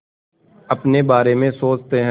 अपने बारे में सोचते हैं